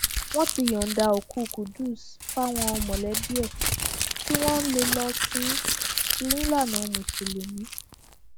wọn ti yọǹda òkú qudus fáwọn mọlẹbí ẹ kí wọn lè lọọ sìnín nílànà mùsùlùmí